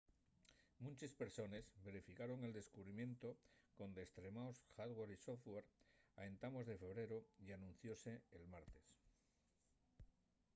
munches persones verificaron el descubrimientu con destremaos hardware y software a entamos de febreru y anunciose'l martes